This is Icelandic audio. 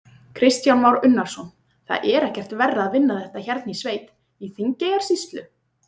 Kristján Már Unnarsson: Það er ekkert verra að vinna þetta hérna í sveit, í Þingeyjarsýslu?